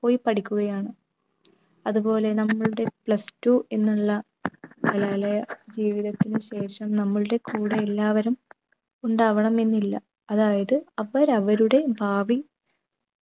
പോയി പഠിക്കുകയാണ്. അതുപോലെ നമ്മളുടെ plus two എന്നുള്ള കലാലയ ജീവിതത്തിനു ശേഷം നമ്മൾടെ കൂടെ എല്ലാവരും ഉണ്ടാവണം എന്നില്ല. അതായത് അവർ അവരുടെ ഭാവി